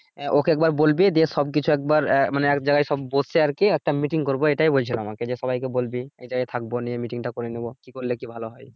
আহ okay একবার বলবি যে সবকিছু একবার আহ মানে এক জায়গায় সব বসে আরকি একটা meeting করব এটাই বলছিলো আমাকে সবাই বলবি এক জায়ায় থাকবো নিয়ে meeting টা করে নিবো কি করলে কি ভালো হয়